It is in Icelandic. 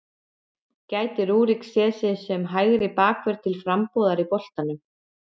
Gæti Rúrik séð sig sem hægri bakvörð til frambúðar í boltanum?